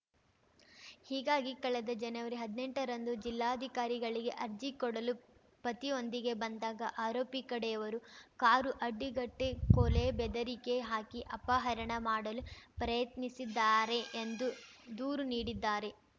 ಹೀಗಾಗಿ ಕಳೆದ ಜನವರಿಹದ್ನೆಂಟ ರಂದು ಜಿಲ್ಲಾಧಿಕಾರಿಗಳಿಗೆ ಅರ್ಜಿ ಕೊಡಲು ಪತಿಯೊಂದಿಗೆ ಬಂದಾಗ ಆರೋಪಿ ಕಡೆಯವರು ಕಾರು ಅಡ್ಡಗಟ್ಟಿಕೊಲೆ ಬೆದರಿಕೆ ಹಾಕಿ ಅಪಹರಣ ಮಾಡಲು ಪ್ರಯತ್ನಿಸಿದ್ದಾರೆ ಎಂದು ದೂರು ನೀಡಿದ್ದಾರೆ